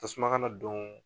Tasuma kana don.